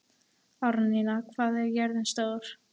Árnína, hvað er jörðin stór?